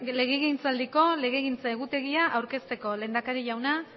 legegintzaldiko legegintza egutegia bi mila hamabi bi mila hamasei aurkezteko lehendakari jauna